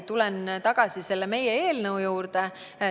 Tulen tagasi meie eelnõu juurde.